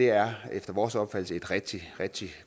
er efter vores opfattelse et rigtig rigtig